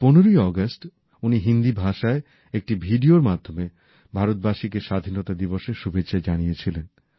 এই ১৫ই আগস্ট উনি হিন্দি ভাষায় একটি ভিডিওর মাধ্যমে ভারতবাসীকে স্বাধীনতা দিবসের শুভেচ্ছা জানিয়েছিলেন